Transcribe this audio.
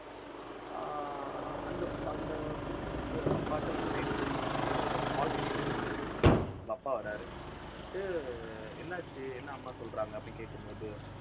ஆஹ் அந்த அந்த பொண்ணு வந்து அவங்க அப்பாட்ட வந்து night தூங்கும் போது அந்த balcony ல நின்னுட்டு இருக்கு அவங்க அப்பா வராரு. வந்துட்டு என்னாச்சு என்ன அம்மா சொல்றாங்க அப்படின்னு கேட்கும்போது